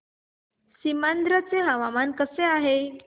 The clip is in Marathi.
सीमांध्र चे हवामान कसे आहे